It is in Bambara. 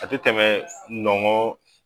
A te tɛmɛ nɔngɔn